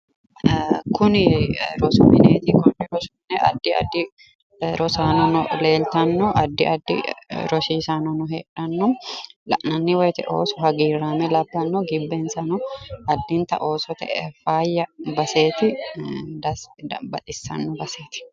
Kuni rosu mineeti konni rosi mine addi addi rosaanono leeltanno addi addi rosiisaanono heedhanno la'nanni woyte Ooso hagiiraame labbanno gibbensanno addintanni Oosote faayya baseeti dassi yitanno baxissanno baseeti.